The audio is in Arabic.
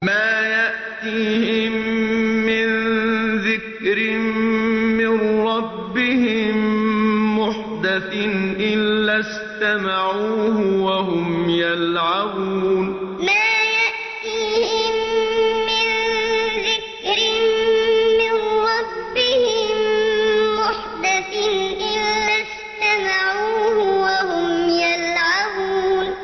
مَا يَأْتِيهِم مِّن ذِكْرٍ مِّن رَّبِّهِم مُّحْدَثٍ إِلَّا اسْتَمَعُوهُ وَهُمْ يَلْعَبُونَ مَا يَأْتِيهِم مِّن ذِكْرٍ مِّن رَّبِّهِم مُّحْدَثٍ إِلَّا اسْتَمَعُوهُ وَهُمْ يَلْعَبُونَ